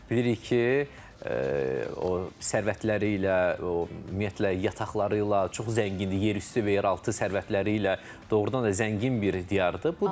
Bilirik ki, o sərvətləri ilə, ümumiyyətlə yataqları ilə çox zəngindir yerüstü və yeraltı sərvətləri ilə doğrudan da zəngin bir diyardır.